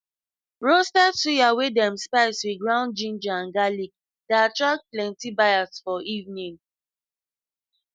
roasted suya wey dem spice with ground ginger and garlic dey attract plenty buyers for evening